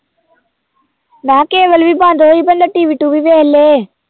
ਮੈਂ ਕਿਹਾ ਕੇਬਲ ਵੀ ਬੰਦ ਹੋਈ ਬੰਦਾ TV ਟੂਵੀ ਵੇਖ ਲਏ।